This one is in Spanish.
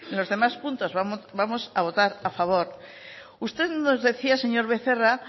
los demás puntos vamos a votar a favor usted nos decía señor becerra